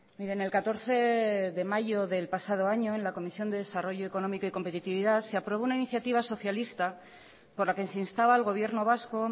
miren el catorce de mayo del pasado año en la comisión de desarrollo económico y competitividad se aprobó una iniciativa socialista por la que se instaba al gobierno vasco